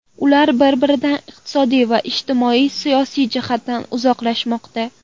Ular bir-biridan iqtisodiy va ijtimoiy-siyosiy jihatdan uzoqlashmoqda.